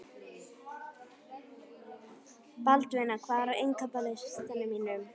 Baldvina, hvað er á innkaupalistanum mínum?